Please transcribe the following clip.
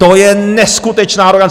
To je neskutečná arogance!